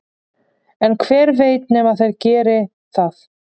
en hver veit nema þeir geri það